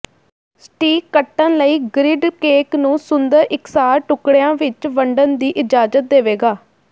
ਸਟੀਕ ਕੱਟਣ ਲਈ grid cake ਨੂੰ ਸੁੰਦਰ ਇਕਸਾਰ ਟੁਕੜਿਆਂ ਵਿਚ ਵੰਡਣ ਦੀ ਇਜਾਜ਼ਤ ਦੇਵੇਗਾ